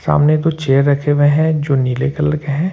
सामने दो चेयर रखे हुए हैं जो नीले कलर के हैं।